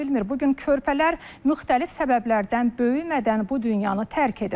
Bu gün körpələr müxtəlif səbəblərdən böyümədən bu dünyanı tərk edir.